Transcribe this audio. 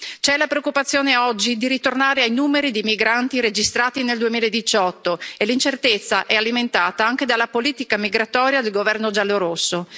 C'è la preoccupazione, oggi, di ritornare ai numeri dei migranti registrati nel 2018 e l'incertezza è alimentata anche dalla politica migratoria del governo giallorosso.